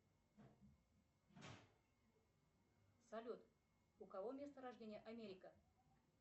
салют у кого место рождения америка